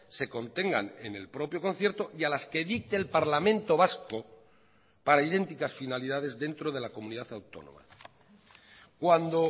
se contengan en el propio concierto y a las que dicte el parlamento vasco para idénticas finalidades dentro de la comunidad autónoma cuando